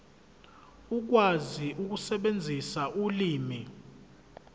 ukwazi ukusebenzisa ulimi